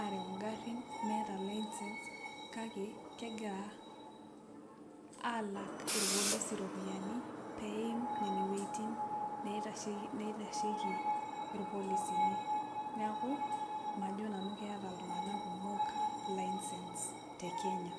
arew ngarin meeta licence kake kegira alak irpolisi ropiyani peim wuejitin naitashieki irpolisi, neaku majo nanu keeta ltunganak kumol licence te kenya.